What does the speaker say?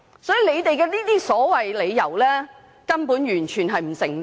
所以政府的理由完全不成立。